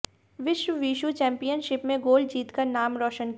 विश्व wushu championship में gold जीतकर नाम रोशन किया